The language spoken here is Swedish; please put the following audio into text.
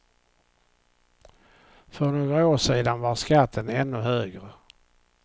För några år sedan var skatten ännu högre.